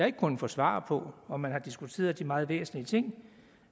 ikke kunnet få svar på om man har diskuteret de meget væsentlige ting